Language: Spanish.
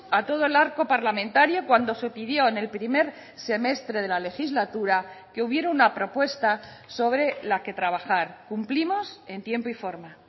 a todo el arco parlamentario cuando se pidió en el primer semestre de la legislatura que hubiera una propuesta sobre la que trabajar cumplimos en tiempo y forma